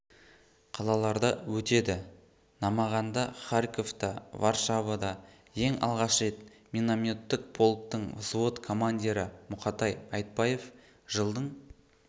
қалаларда өтеді намаганда харьковта варшавада ең алғаш рет минометтік полктің взвод командирі мұқатай айтбаев жылдың